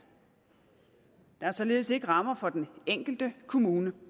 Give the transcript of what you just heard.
der er således ikke rammer for den enkelte kommune